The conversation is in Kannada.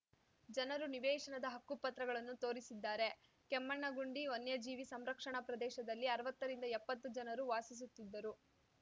ಜನರು ನಿವೇಶನದ ಹಕ್ಕು ಪತ್ರಗಳನ್ನು ತೋರಿಸಿದ್ದಾರೆ ಕೆಮ್ಮಣ್ಣಗುಂಡಿ ವನ್ಯಜೀವಿ ಸಂರಕ್ಷಣಾ ಪ್ರದೇಶದಲ್ಲಿ ಅರ್ವತ್ತ ರಿಂದ ಎಪ್ಪತ್ತು ಜನರು ವಾಸಿಸುತ್ತಿದ್ದರು